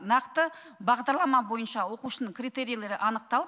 нақты бағдарлама бойынша оқушының критерийлері анықталып